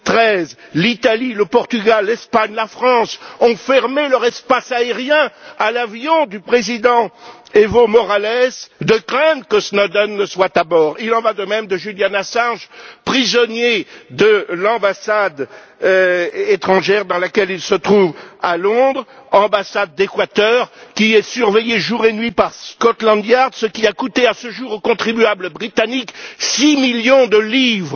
2013. L'Italie, le Portugal, l'Espagne, la France ont fermé leur espace aérien à l'avion du président Evo Morales, de crainte que Snowden ne soit à bord. Il en va de même pour Julian Assange, prisonnier de l'ambassade étrangère dans laquelle il se trouve à Londres, l'ambassade d'Équateur, qui est surveillée jour et nuit par Scotland Yard, ce qui a coûté à ce jour aux contribuables britanniques 6 millions de livres.